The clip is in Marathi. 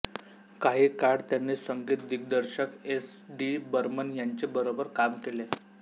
काही काळ त्यांनी संगीत दिग्दर्शक एस डी बर्मन यांचे बरोबर काम केले